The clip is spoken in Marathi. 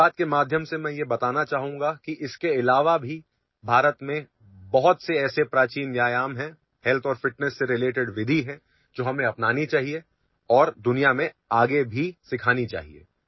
मन की बातच्या माध्यमातून मी हे सांगू इच्छितो की या प्रकाराखेरीज देखील भारतात असे अनेक प्राचीन व्यायाम प्रकार आहेत जे आरोग्य आणि तंदुरुस्ती यांच्या दृष्टीने महत्त्वाच्या पद्धती आहेत ज्या आपण स्वीकारल्या पाहिजेत आणि जगाला त्या शिकवल्या देखील पाहिजेत